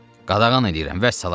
“Qadağan eləyirəm, vəssalam.